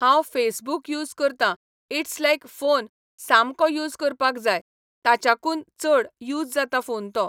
हांव Facebook use करतां it's like phone सामको यूस करपाक जाय ताच्याकून चड यूस जाता फोन तो